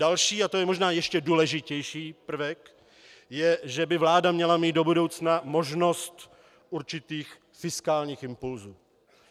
Další, a to je možná ještě důležitější prvek, je, že by vláda měla mít do budoucna možnost určitých fiskálních impulsů.